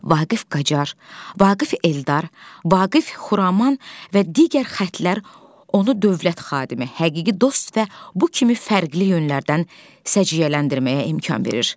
Vaqif Qaçar, Vaqif Eldar, Vaqif Xuraman və digər xətlər onu dövlət xadimi, həqiqi dost və bu kimi fərqli yönlərdən səciyyələndirməyə imkan verir.